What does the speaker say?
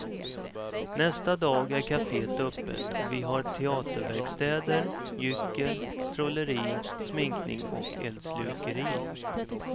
Nästa dag är caféet öppet och vi har teaterverkstäder, gyckel, trolleri, sminkning och eldslukeri.